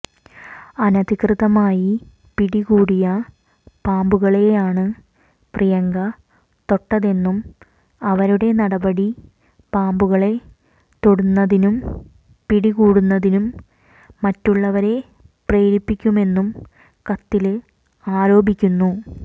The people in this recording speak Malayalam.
അനധികൃതമായി പിടികൂടിയ പാമ്പുകളെയാണ് പ്രിയങ്ക തൊട്ടതെന്നും അവരുടെ നടപടി പാമ്പുകളെ തൊടുന്നതിനും പിടികൂടുന്നതിനും മറ്റുള്ളവരെ പ്രേരിപ്പിക്കുമെന്നും കത്തില് ആരോപിക്കുന്നു